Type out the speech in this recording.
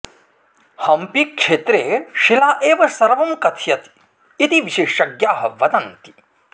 हम्पीक्षेत्रे शिला एव सर्वं कथयति इति विशेषज्ञाः वदन्ति